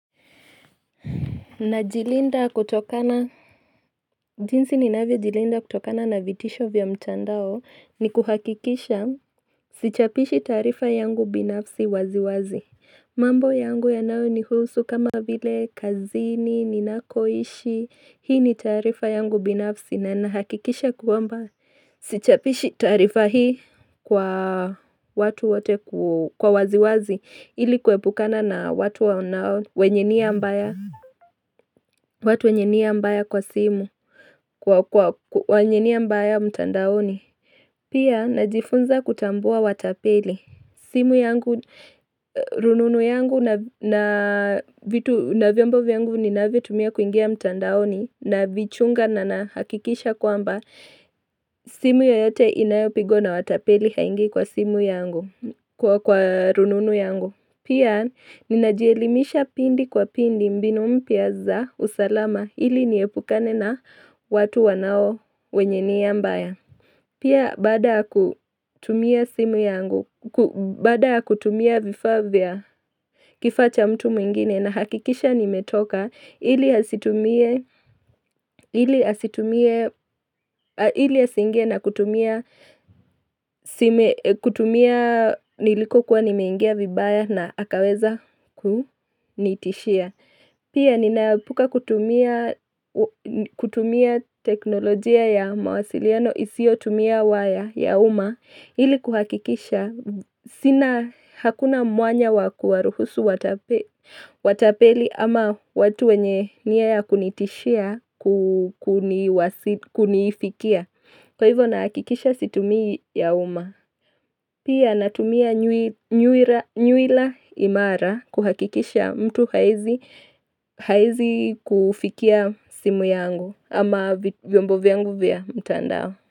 Najilinda kutokana, jinsi ninavyo jilinda kutokana na vitisho vya mchandao ni kuhakikisha, vichapishi tarifa yangu binafsi waziwazi. Mambo yangu ya nao ni husu kama vile kazini, ninakoishi, hii ni tarifa yangu binafsi na nahakikisha kwamba, Sichapishi tarifa hii kwa watu waziwazi ilikuwebukana na watu wanao wenye watu wenye nia mbaya kwa simu, kwa wenye nia mbaya mtandaoni. Pia, najifunza kutambua watapeli. Simu yangu, rununu yangu na vitu na vyombov yangu ni na vitu mia kuingia mtandaoni na vichunga na na hakikisha kwamba. Simu yoyote inayopigo na watapeli haingi kwa simu yangu, kwa rununu yangu. Pia, ninajielimisha pindi kwa pindi mbinu mpia za usalama ili niepukane na watu wanao wenye ni ambaya. Pia bada kutumia simu yangu, bada kutumia vifaa vya kifacha mtu mwingine na hakikisha nimetoka ili hasitumie, ili hasitumie, ili hasingie na kutumia simu, kutumia niliko kuwa nimeingia vibaya na akaweza kunitishia. Pia ninapuka kutumia teknolojia ya mawasiliano isio tumia waya ya uma ili kuhakikisha sina hakuna mwanya wakuwaruhusu watapeli ama watu wenye niaya kunitishia kukunifikia. Kwa hivyo na hakikisha situmi ya uma. Pia na tumia nyuila imara kuhakikisha mtu hawezi kufikia simu yangu ama vyombo vyangu vya mtandao.